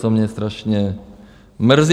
To mě strašně mrzí.